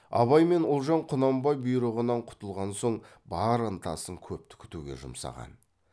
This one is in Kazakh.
абай мен ұлжан құнанбай бұйрығынан құтылған соң бар ынтасын көпті күтуге жұмсаған